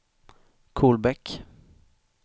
Kolbäck